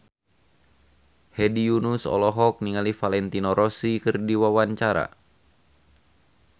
Hedi Yunus olohok ningali Valentino Rossi keur diwawancara